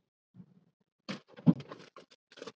Þórhildur: Er píanóið uppáhalds hljóðfærið þitt?